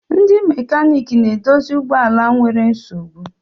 Ndi mekanik na-edozie ụgbọ ala nwere nsogbu.